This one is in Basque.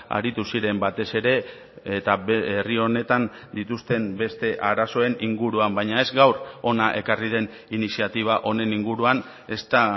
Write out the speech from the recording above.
aritu ziren batez ere eta herri honetan dituzten beste arazoen inguruan baina ez gaur hona ekarri den iniziatiba honen inguruan ezta